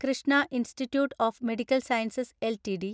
Krishna institute of medical sciences LTD